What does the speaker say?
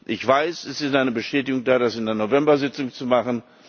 Ich weiß, es ist eine Bestätigung da, das in der November Sitzung zu machen.